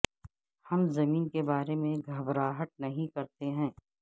ہم زمین کے بارے میں گھبراہٹ نہیں کرتے ہیں